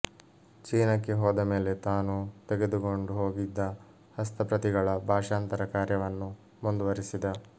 ಚೀನಕ್ಕೆ ಹೋದ ಮೇಲೆ ತಾನು ತೆಗೆದುಕೊಂಡು ಹೋಗಿದ್ದ ಹಸ್ತಪ್ರತಿಗಳ ಭಾಷಾಂತರ ಕಾರ್ಯವನ್ನು ಮುಂದುವರಿಸಿದ